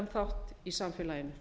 þátt í samfélaginu